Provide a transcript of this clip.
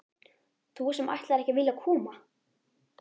Þú sem ætlaðir ekki að vilja koma!